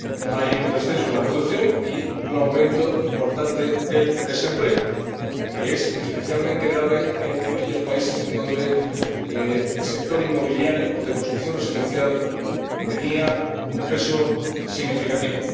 hay un descenso en la producción y un aumento importante del desempleo, que es especialmente grave en aquellos países en los que el sector inmobiliario o de construcción residencial tiene un peso significativo.